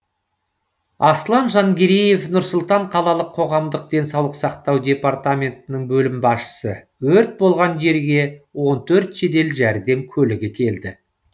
аслан жангереев нұр сұлтан қалалық қоғамдық денсаулық сақтау департаментінің бөлім басшысы өрт болған жерге он төрт жедел жәрдем көлігі келді